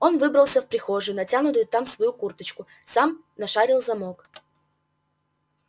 он выбрался в прихожую натянул там свою курточку сам нашарил замок